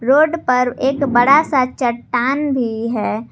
Road पर एक बड़ा सा चट्टान भी है।